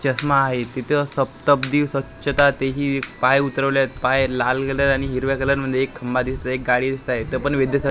चष्मा आहे तिथं सप्त्ब्दी स्वच्छता तेही पाय उतरवल्यात पाय लाल कलर आणि हिरव्या कलरमध्ये एक खंबा दिसत आहे एक गाडी दिसत आहे त पण